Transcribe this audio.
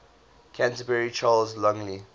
canterbury charles longley